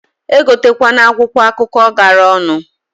Egote kwana akwụkwọ akụkọ gara onu.